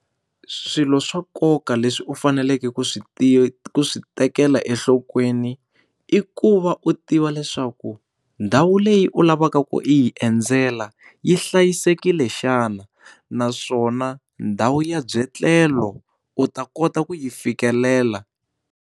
Swilo swa nkoka leswi u faneleke ku swi tiva ku swi tekela enhlokweni i ku va u tiva leswaku ndhawu leyi u lavaka ku yi endzela yi hlayisekile xana naswona ndhawu ya byetlelo u ta kota ku yi fikelela.